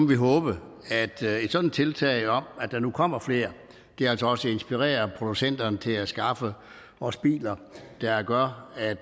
vi håbe at et sådant tiltag om at der nu kommer flere altså også inspirerer producenterne til at skaffe os biler der gør at